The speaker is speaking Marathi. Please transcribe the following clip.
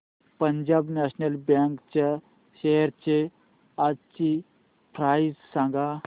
पंजाब नॅशनल बँक च्या शेअर्स आजची प्राइस सांगा